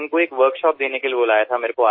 त्यांना एका कार्यशाळेसाठी बोलावले होते